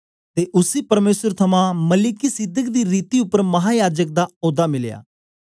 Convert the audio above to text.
ते उसी परमेसर थमां मलिकिसिदक दी रीति उपर महायाजक दा औदा मिलया